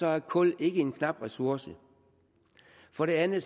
er kul ikke en knap ressource og for det andet